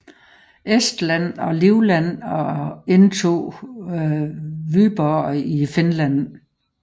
Estland og Livland og indtog Vyborg i Finland